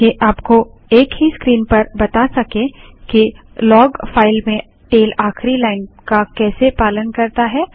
ताकि आपको एक ही स्क्रीन पर बता सकें कि लाग फाइल में टैल आखिरी लाइन का कैसे पालन करता है